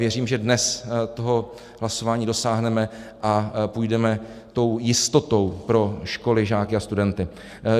Věřím, že dnes toho hlasování dosáhneme a půjdeme tou jistotou pro školy, žáky a studenty.